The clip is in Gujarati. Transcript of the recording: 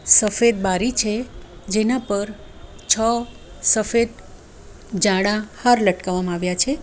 સફેદ બારી છે જેના પર છ સફેદ જાડા હાર લટકાવવામાં આવ્યા છે.